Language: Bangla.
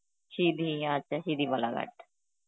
সিধি, আচ্ছা সিধি বালাঘাট.